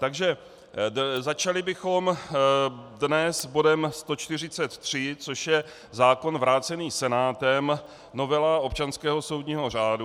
Takže začali bychom dnes bodem 143, což je zákon vrácený Senátem, novela občanského soudního řádu.